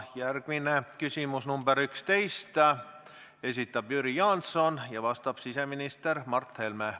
Järgmine on küsimus nr 11, mille esitab Jüri Jaanson ja millele vastab siseminister Mart Helme.